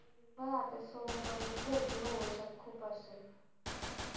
हा आता सोमवारी गर्दी हो खूप असते